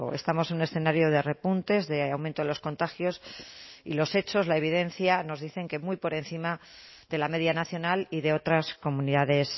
estamos en un escenario de repuntes de aumento de los contagios y los hechos la evidencia nos dicen que muy por encima de la media nacional y de otras comunidades